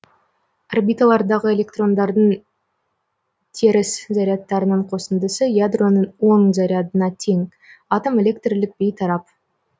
орбиталардағы электрондардың теріс зарядтарының қосындысы ядроның оң зарядына тең атом электрлік бейтарап